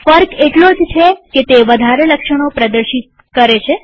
ફર્ક એટલો જ છે કે તે વધારે લક્ષણો પ્રદર્શિત થાય છે